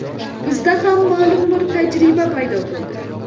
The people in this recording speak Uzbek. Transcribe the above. Bizda ham ma’lum bir tajriba paydo bo‘ldi.